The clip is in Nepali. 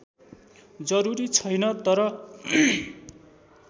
जरूरी छैन तर